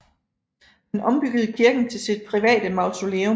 Han ombyggede kirken til sit private mausoleum